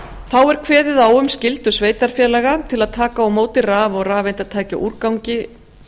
þá er kveðið á um skyldur sveitarfélaga til að taka á móti raf og rafeindatækjaúrgangi